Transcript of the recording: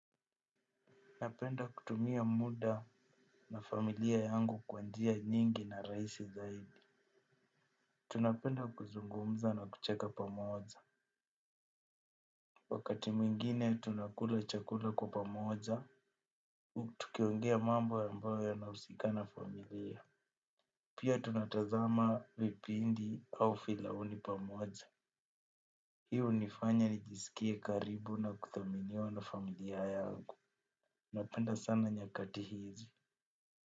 Napenda kutumia muda na familia yangu kwa njia nyingi na raisi zaidi. Tunapenda kuzungumza na kucheka pamoja. Wakati mwingine tunakula chakula kwa pamoja. Tukiongea mambo ambayo yanahusika na familia. Pia tunatazama vipindi au filamu pamoja. Hii hunifanya nijisikia karibu na kudhaminiwa na familia yangu. Napenda sana nyakati hizi.